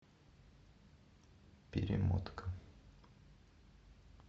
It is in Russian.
перемотка